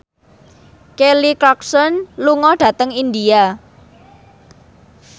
Kelly Clarkson lunga dhateng India